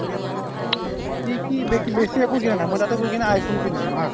কি কি বেক্ বেছি একো দিয়া নাই মই তাতে গৈ কিনে iphone কিনিছিলো haa